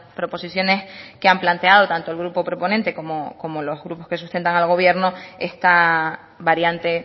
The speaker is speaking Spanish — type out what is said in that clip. proposiciones que han planteado tanto el grupo proponente como los grupos que sustentan al gobierno esta variante